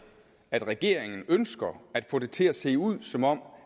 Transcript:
at regeringen ønsker at få det til at se ud som om